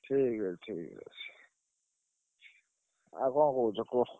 ଠିକ୍ ଅଛି। ଠିକ୍ ଅଛି। ଆଉ କଣ କହୁଛ କୁହ।